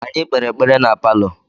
Anyị kpere ekpere na palọ.